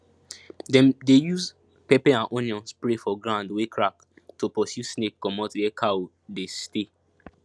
dem dey use pepper and onion spray for ground wey crack to pursue snake comot where cow dey stay